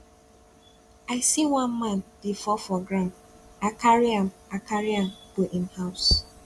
i see one man dey fall for ground i carry am i carry am go im house